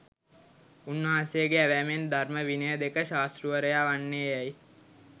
උන් වහන්සේගේ ඇවෑමෙන් ධර්ම විනය දෙක, ශාස්තෘවරයා වන්නේයැයි